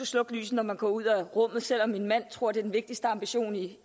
slukke lyset når man går ud af rummet selv om min mand tror det den vigtigste ambition i